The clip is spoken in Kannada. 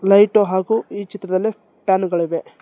ಲೈಟು ಹಾಗು ಈ ಚಿತ್ರದಲ್ಲಿ ಫ್ಯಾನುಗಳಿವೆ.